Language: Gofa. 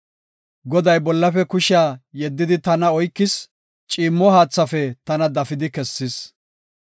Goday bollafe kushiya yeddidi tana oykis; ciimmo haathaafe tana dafidi kessis.